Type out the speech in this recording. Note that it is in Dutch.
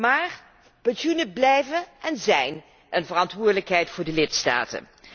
Maar pensioenen blijven en zijn een verantwoordelijkheid voor de lidstaten.